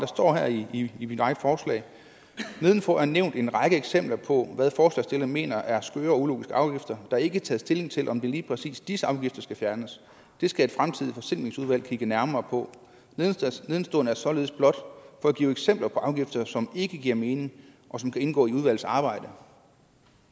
står her i i mit eget forslag nedenfor er nævnt en række eksempler på hvad forslagsstillerne mener er skøre eller ulogiske afgifter der er ikke taget stilling til om lige præcis disse afgifter skal fjernes det skal et fremtidigt forsimplingsudvalg kigge nærmere på nedenstående er således blot for at give eksempler på afgifter som ikke giver mening og som kan indgå i udvalgets arbejde